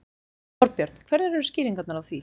Þorbjörn: Hverjar eru skýringarnar á því?